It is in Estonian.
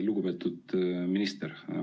Lugupeetud minister!